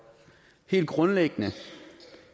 helt grundlæggende